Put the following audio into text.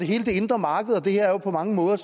hele det indre marked det her er jo på mange måder